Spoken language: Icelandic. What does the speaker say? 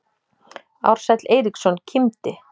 Ársæll Eiríksson kímdi.